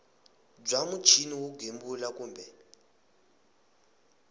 bya muchini wo gembula kumbe